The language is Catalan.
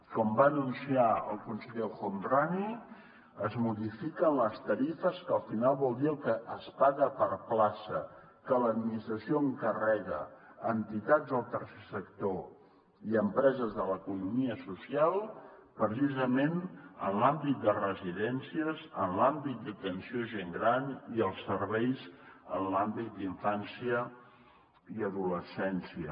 com va anunciar el conseller el homrani es modifiquen les tarifes que al final vol dir el que es paga per plaça que l’administració encarrega a entitats del tercer sector i a empreses de l’economia social precisament en l’àmbit de residències en l’àmbit d’atenció a gent gran i els serveis en l’àmbit d’infància i adolescència